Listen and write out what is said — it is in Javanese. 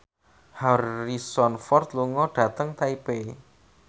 Harrison Ford lunga dhateng Taipei